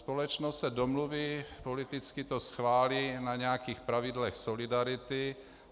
Společnost se domluví - politicky to schválí - na nějakých pravidlech solidarity.